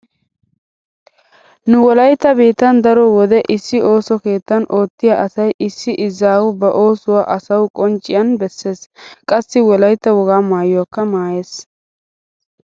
Nu wolaytta biittan daro wode issi ooso keettan oottiya asay issi izaawu ba oosuwa asawu qoncciyan bessees. Qassi wolaytta wogaa maayuwakka maayees.